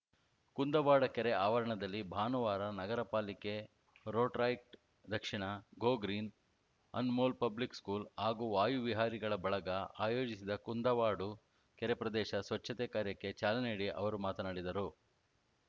ಕುಂದವಾಡ ಕೆರೆ ಆವರಣದಲ್ಲಿ ಭಾನುವಾರ ನಗರ ಪಾಲಿಕೆ ರೋಟರಾರ‍ಯಕ್ಟ್ ದಕ್ಷಿಣ go green Anmol public school ಹಾಗೂ ವಾಯು ವಿಹಾರಿಗಳ ಬಳಗ ಆಯೋಜಿಸಿದ ಕುಂದುವಾಡು ಕೆರೆ ಪ್ರದೇಶ ಸ್ವಚ್ಛತೆ ಕಾರ್ಯಕ್ಕೆ ಚಾಲನೆ ನೀಡಿ ಅವರು ಮಾತನಾಡಿದರು